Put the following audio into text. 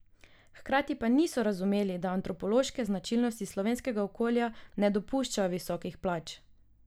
Hkrati pa niso razumeli, da antropološke značilnosti slovenskega okolja ne dopuščajo visokih plač.